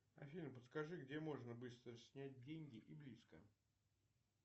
афина подскажи где можно быстро снять деньги и близко